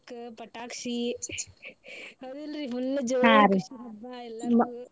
ಪಟಾಕ್ಷಿ ಹೌದಿಲ್ಲರ್ರಿ full ಜೋರ ಹಬ್ಬಾ ಎಲ್ಲಾರ್ಗೂ .